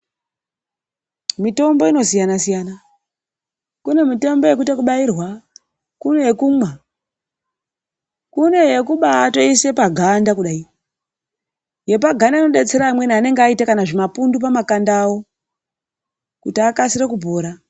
Mitombo inosiyana siya. Kune mitombo yekuite yekubairwe kune yekumwa. Kune yekubaatoise paganda kudayi. Yepaganda inodetsera amweni anenge aite kana zvimapundu pamakanda awo kuti akasire kupora.